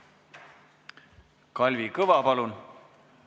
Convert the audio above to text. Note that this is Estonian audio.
Kalvi Kõva, palun!